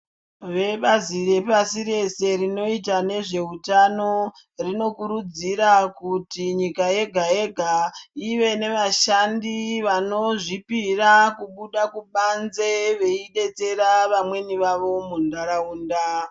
Vebazi repasi rese rinoita nezveutano rinokurudzira kuti nyika yega yega ive nevashandi vanozvipira kubuda kubanze veidetsera vamweni vavo muntaraunda.